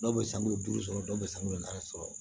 Dɔw bɛ sanu duuru sɔrɔ dɔw bɛ sanuya naani sɔrɔ